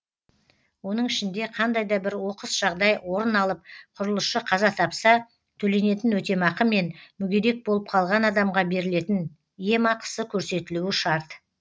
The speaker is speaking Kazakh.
оның ішінде қандай да бір оқыс жағдай орын алып құрылысшы қаза тапса төленетін өтемақы мен мүгедек болып қалған адамға берілетін емақысы көрсетілуі шарт